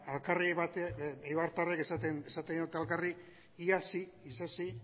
eibartarrek esaten diote elkarri iarsi isasi